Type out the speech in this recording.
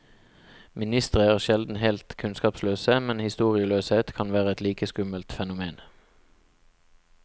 Ministre er sjelden helt kunnskapsløse, men historieløshet kan være et like skummelt fenomen.